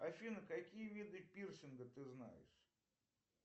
афина какие виды пирсинга ты знаешь